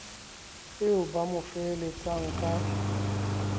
eo ba mo feheletsang ka